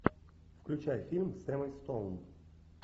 включай фильм с эммой стоун